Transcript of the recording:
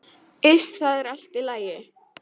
Iss, það er allt í lagi.